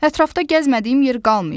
Ətrafda gəzmədiyim yer qalmayıb.